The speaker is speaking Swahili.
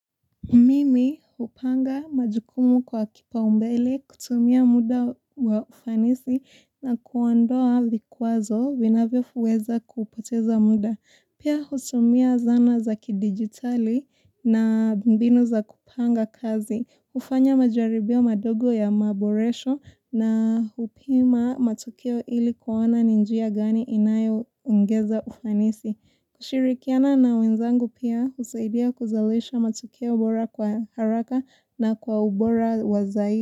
Mimi hupanga majukumu kwa kipaumbele kutumia muda wa ufanisi na kuondoa vikwazo vinavyo fuweza kupoteza muda. Pia hutumia zana za kidigitali na mbinu za kupanga kazi. Hufanya majaribio madogo ya maboresho na hupima matukio ili kuona ni njia gani inayoongeza ufanisi. Kushirikiana na wenzangu pia husaidia kuzalisha matokeo bora kwa haraka na kwa ubora wa zai.